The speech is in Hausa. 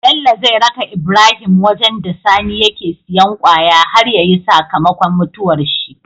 Bello zai raka Ibrahim wajan da sani yake siyan kwaya har yayi saka makon mutuwar shi